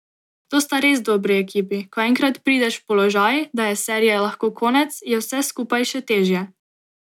To sta res dobri ekipi, ko enkrat prideš v položaj, da je serije lahko konec, je vse skupaj še težje.